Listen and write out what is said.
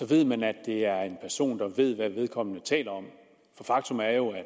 ved man at det er en person der ved hvad vedkommende taler om for faktum er jo at